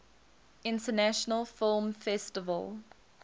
international film festival